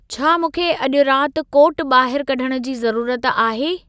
छा मूंखे अॼु राति कोट ॿाहिरु कढ़ण जी ज़रूरत आहे।